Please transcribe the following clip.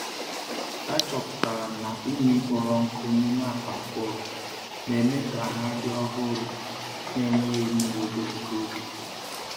Achọpụtara m na unyi kpọrọ nkụ n'ime akpa mkpụrụ na-eme ka ha dị ọhụrụ na enweghị mmiri ogologo oge.